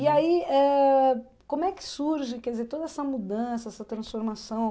E aí, ãh como é que surge, quer dizer, toda essa mudança, essa transformação?